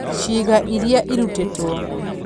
Ciĩga Iria Irutĩtwo: